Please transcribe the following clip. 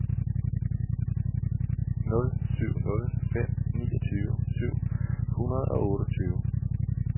nul syv nul fem niogtyve syv hundrede og otteogtyve